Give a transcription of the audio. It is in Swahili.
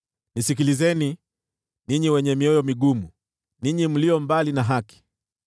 Nisikilizeni, ninyi wenye mioyo migumu, ninyi mlio mbali na haki.